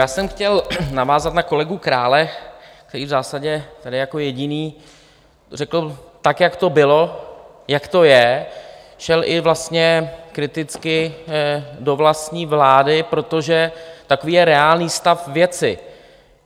Já jsem chtěl navázat na kolegu Krále, který v zásadě tady jako jediný řekl, tak jak to bylo, jak to je, šel i vlastně kriticky do vlastní vlády, protože takový je reálný stav věci.